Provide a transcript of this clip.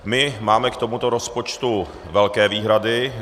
My máme k tomuto rozpočtu velké výhrady.